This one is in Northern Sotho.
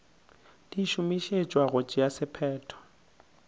di šomišetšwa go tšea sephetho